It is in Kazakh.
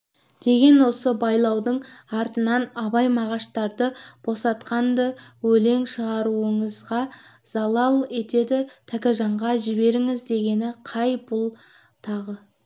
деген осы байлаудың артынан абай мағаштарды босатқан-ды өлең шығаруыңызға залал етеді тәкежанға жіберіңіз дегені қай бұлтағы